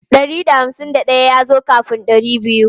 Ɗari da hamsin daya ya zo kafin ɗari biyu.